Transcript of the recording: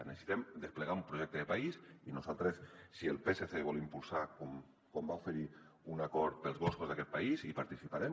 necessitem desplegar un projecte de país i nosaltres si el psc vol impulsar com ho va oferir un acord pels boscos d’aquest país hi participarem